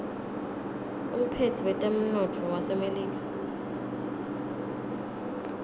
umphetsi wetemnotto wasemelika